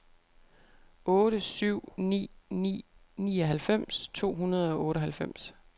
otte syv ni ni nioghalvfems to hundrede og otteoghalvfems